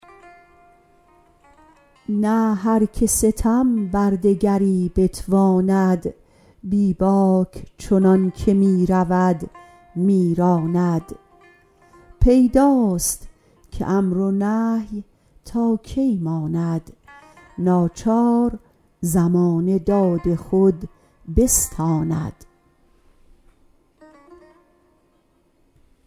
نه هر که ستم بر دگری بتواند بیباک چنانکه می رود می راند پیداست که امر و نهی تا کی ماند ناچار زمانه داد خود بستاند